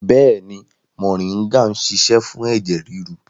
Bẹ́ẹ̀ni, moringa ń ṣiṣẹ́ fún ẹ̀jẹ̀ ríru